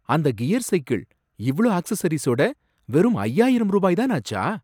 அந்த gear cycle, இவ்ளோ அக்சஸரீஸோட வெறும் ஐய்யாயிரம் ரூபாய் தான் ஆச்சா?